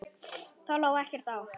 Þá lá ekkert á.